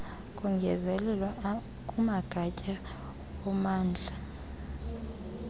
kongezelelwa kumagatya ommandla